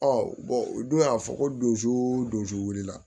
u dun y'a fɔ ko don wuli la